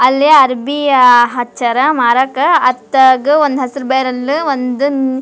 ಅಲ್ಲಿ ಅರ್ಬಿ ಆ ಹಚ್ಚರ ಮರಕ್ಕ ಅತ್ತಾಗ ಒಂದು ಹೆಸ್ರ್ ಬ್ಯಾರೆಲ್ ಒಂದನ್ --